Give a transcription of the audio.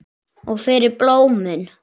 Og fyrir blómin.